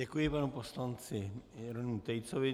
Děkuji panu poslanci Jeronýmu Tejcovi.